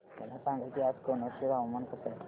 मला सांगा की आज कनौज चे हवामान कसे आहे